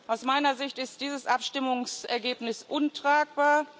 Aus meiner Sicht ist dieses Abstimmungsergebnis untragbar.